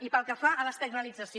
i pel que fa a l’externalització